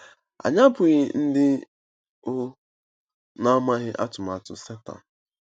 Anyị abụghị ndị um na-amaghị atụmatụ Setan.